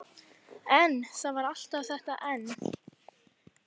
En- það var alltaf þetta en.